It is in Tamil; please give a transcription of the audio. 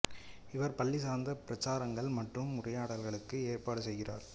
இவர் பள்ளி சார்ந்த பிரச்சாரங்கள் மற்றும் உரையாடல்களுக்கும் ஏற்பாடு செய்கிறார்